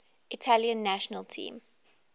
italian national team